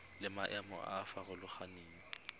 le maemo a a farologaneng